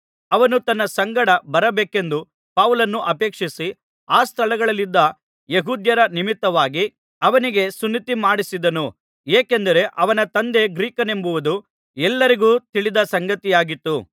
ಅವನು ತನ್ನ ಸಂಗಡ ಬರಬೇಕೆಂದು ಪೌಲನು ಅಪೇಕ್ಷಿಸಿ ಆ ಸ್ಥಳಗಳಲ್ಲಿದ್ದ ಯೆಹೂದ್ಯರ ನಿಮಿತ್ತವಾಗಿ ಅವನಿಗೆ ಸುನ್ನತಿ ಮಾಡಿಸಿದನು ಏಕೆಂದರೆ ಅವನ ತಂದೆ ಗ್ರೀಕನೆಂಬುದು ಎಲ್ಲರಿಗೂ ತಿಳಿದ ಸಂಗತಿಯಾಗಿತ್ತು